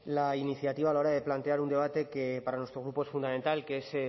la iniciativa la hora de plantear un debate que para nuestro grupo es fundamental que es